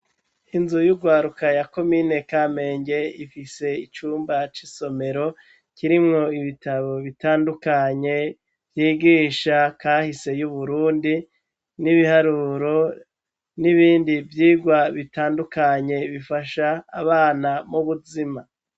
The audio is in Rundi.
inzu yugwaruka ya komine kamenge ifise icumba c'isomero kirimwo ibitabo bitandukanye yigisha kahise y'uburundi n'ibiharuro n'ibindi vyigwa bitandukanye bifasha abana mubuzima